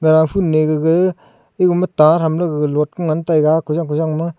gaga phun ne gaga egama ta thamley gaga lot ku ngan taiga kojang kojang ma.